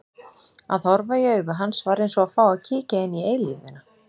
Að horfa í augu hans var eins og að fá að kíkja inn í eilífðina.